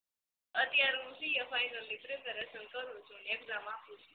અત્યારે હું CA final ની preparation કરું છું ને exam આપું છું